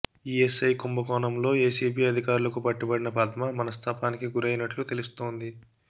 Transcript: ESI కుంభకోణంలో ACB అధికారులకు పట్టుబడిన పద్మ మనస్థాపానికి గురైనట్లు తెలుస్తోంది